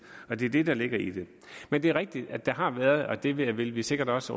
det er det der ligger i det men det er rigtigt at der har været og det vil vi sikkert også